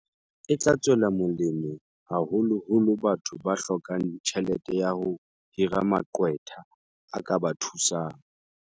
E tla tswela molemo haholo holo batho ba hlokang tjhelete ya ho hira maqwetha a ka ba thusang.